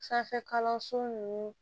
Sanfɛ kalanso nunnu